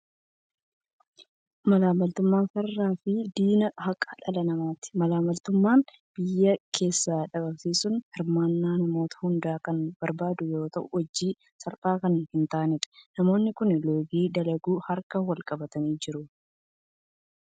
Malaammaltummaan farraa fi diina haqa dhala namaati. Malaammaltummaa biyya keessaa dhabamsiisuun hirmaannaa namoota hundaa kan barbaadu yoo ta'u, hojii salphaa kan hin taanedha. Namoonni kun loogii dalaguuf harka wal qabatanii jiru.